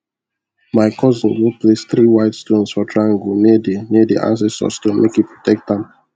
my cousin go place three white stones for triangle near the near the ancestor stone make e protect am